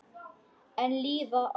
Enn líða árin.